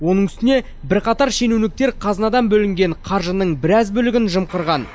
оның үстіне бірқатар шенеуніктер қазынадан бөлінген қаржының біраз бөлігін жымқырған